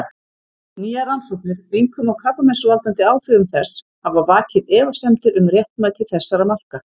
Nýjar rannsóknir, einkum á krabbameinsvaldandi áhrifum þess, hafa vakið efasemdir um réttmæti þessara marka.